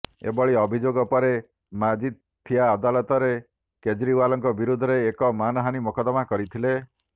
ଏଭଳି ଅଭିଯୋଗ ପରେ ମାଜିଥିଆ ଅଦାଲତରେ କେଜେରିୱାଲଙ୍କ ବିରୋଧରେ ଏକ ମାନହାନି ମକଦ୍ଦମା କରିଥିଲେ